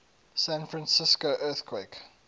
san francisco earthquake